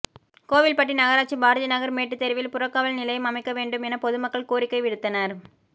கோவில்பட்டி நகராட்சி பாரதிநகா் மேட்டுத் தெருவில் புறக்காவல் நிலையம் அமைக்க வேண்டும் என பொதுமக்கள் கோரிக்கை விடுத்தனா்